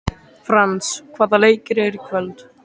Frans, hvaða leikir eru í kvöld?